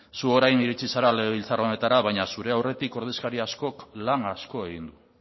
zu orain iritsi zara legebiltzar honetara baina zure aurretik ordezkari askok lan asko egin du